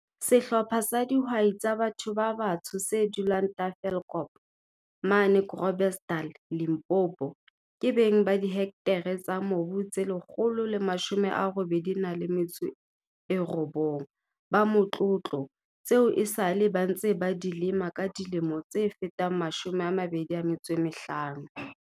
Sehlopha sa di hwai tsa batho ba batsho se dulang Tafelkop, mane Gro blersdal, Limpopo, ke beng ba dihektare tsa mobu tse 189 ba motlo tlo, tseo esale ba ntse ba di lema ka dilemo tse fetang 25.